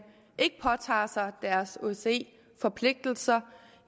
ikke påtager sig deres osce forpligtelser